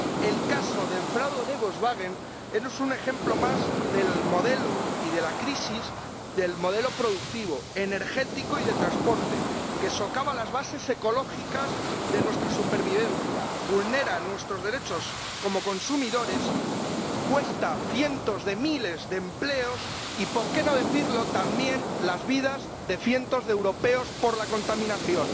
El caso del fraude de Volkswagen es un ejemplo más de la crisis del modelo productivo, energético y de transporte que socava las bases ecológicas de nuestra supervivencia, vulnera nuestros derechos como consumidores, cuesta cientos de miles de empleos y —por qué ocultarlo— también las vidas de cientos de europeos por la contaminación.